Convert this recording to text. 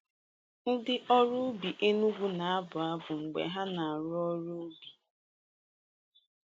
Ndị ọrụ ugbo Enugwu na-abụ abụ mgbe ha na-arụ ọrụ n'ubi.